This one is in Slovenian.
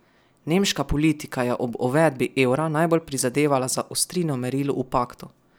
Nemška politika je ob uvedbi evra najbolj prizadevala za ostrino meril v paktu.